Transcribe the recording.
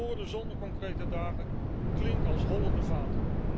Mooie woorden zonder concrete daden klinken als holle vaten.